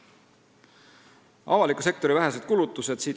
Siit järelduvad avaliku sektori vähesed kulutused.